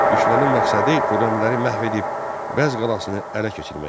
Düşmənin məqsədi Xürrəmləri məhv edib Bəz qalasını ələ keçirmək idi.